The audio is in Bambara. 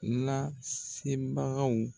Lase bagaw.